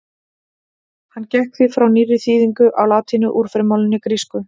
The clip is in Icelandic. Hann gekk því frá nýrri þýðingu á latínu úr frummálinu grísku.